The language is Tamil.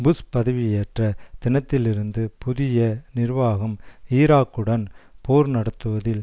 புஷ் பதவியேற்ற தினத்திலிருந்து புதிய நிர்வாகம் ஈராக்குடன் போர் நடத்துவதில்